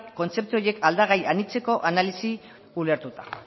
kontzeptu horiek aldagai anitzeko analisia ulertuta